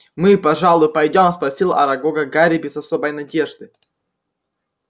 мы пожалуй пойдём спросил арагога гарри без особой надежды